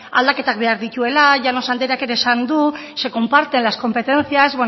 aldaketak behar dituela llanos andreak ere esan du se comparten las competencias